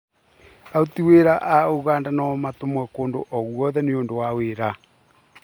Aruti wĩra a Ũganda no matũmwo kũndũ o,guothe nĩũndũ wa wĩra